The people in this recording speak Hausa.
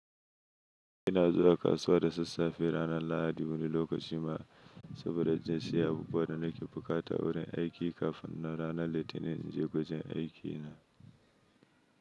Ina zuwa kasuwa da sassafe ranar Lahadi wani lokacin ma saboda jin siyan abubuwan da nake buƙata wurin aiki kafin na rana Litinin in je wajen aikina.